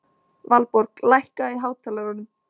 Valborg, lækkaðu í hátalaranum.